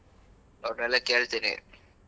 ಅವರ್ನೆಲ್ಲ ಕೇಳ್ತೀನಿ.